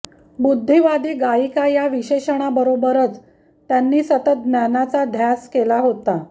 बुद्धिवादी गायिका या विशेषणाबरोबरच त्यांनी सतत ज्ञानाचा ध्यास केला होता